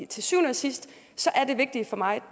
til syvende og sidst er det vigtige for mig